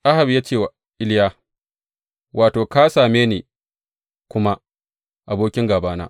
Ahab ya ce wa Iliya, Wato, ka same ni kuma, abokin gābana!